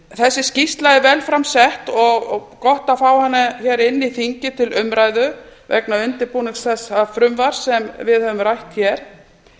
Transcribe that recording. þessi skýrsla er vel fram sett og gott að fá hana hingað inn í þingið til umræðu vegna undirbúnings þessa frumvarps sem við höfum rætt hér